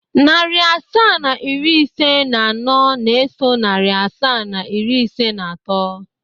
Narị asaa na iri ise na anọ na-eso narị asaa na iri ise na atọ.